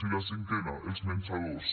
i la cinquena els menjadors